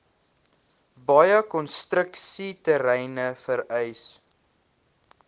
baie konstruksieterreine vereis